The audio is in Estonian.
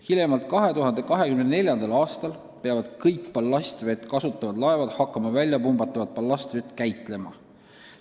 Hiljemalt 2024. aastal peavad kõik ballastvett kasutavad laevad hakkama väljapumbatavat ballastvett käitlema.